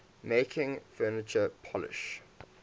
making furniture polish